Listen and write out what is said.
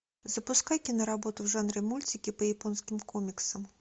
запускай киноработу в жанре мультики по японским комиксам